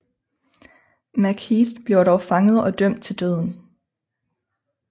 MacHeath bliver dog fanget og dømt til døden